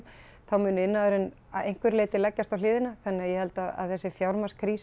þá muni iðnaðurinn að einhverju leyti leggjast á hliðina þannig að ég held að þessi